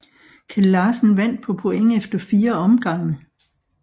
Kjeld Larsen vandt på point efter 4 omgange